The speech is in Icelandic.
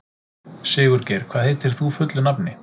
Sigurgeir, hvað heitir þú fullu nafni?